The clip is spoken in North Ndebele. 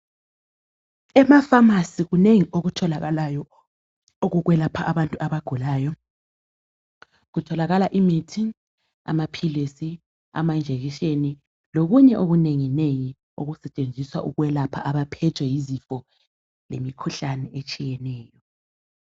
Ema pharmacy kunengi okutholakalayo okukwelapha abantu abagulayo. Kutholakala imithi, amaphilisi amajekiseni lokunye okunengi nengi okusetshenziswa ukwelapha abaphethwe yizifo lemikhuhlane etshiyeneyo.